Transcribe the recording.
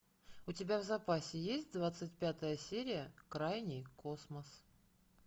у тебя в запасе есть двадцать пятая серия крайний космос